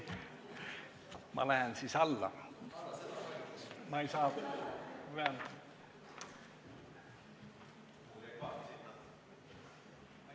Ma lähen nüüd siit alla.